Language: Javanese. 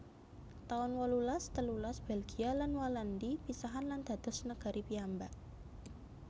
taun wolulas telulas Belgia lan Walandi pisahan lan dados negari piyambak